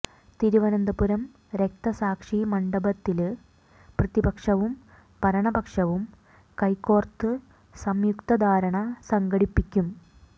തിരുവനന്തപുരം രക്തസാക്ഷി മണ്ഡപത്തില് പ്രതിപക്ഷവും ഭരണപക്ഷവും കൈ കോര്ത്ത് സംയുക്ത ധര്ണ സംഘടിപ്പിക്കും